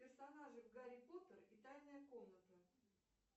персонажи в гарри поттер и тайная комната